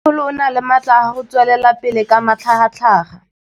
Mmêmogolo o na le matla a go tswelela pele ka matlhagatlhaga.